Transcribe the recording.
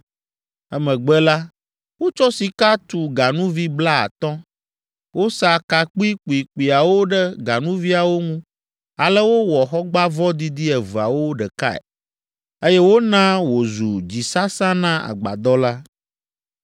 Emegbe la, wotsɔ sika tu ganuvi blaatɔ̃. Wosa ka kpuikpuikpuiawo ɖe ganuviawo ŋu ale wowɔ xɔgbãvɔ didi eveawo ɖekae, eye wona wòzu dzisasa na agbadɔ la.